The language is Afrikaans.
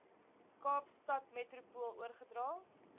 kaapstad metropool oorgedra